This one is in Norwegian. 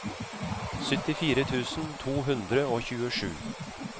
syttifire tusen to hundre og tjuesju